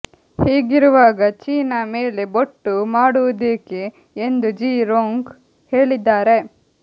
ಹೀಗಿರುವಾಗಿ China ಮೇಲೆ ಬೊಟ್ಟು ಮಾಡುವುದೇಕೆ ಎಂದು ಜಿ ರೊಂಗ್ ಹೇಳಿದ್ದಾರೆ